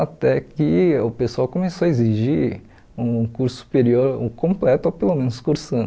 Até que o pessoal começou a exigir um curso superior, um completo, ou pelo menos cursando.